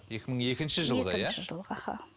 екі мың екінші жылғы иә аха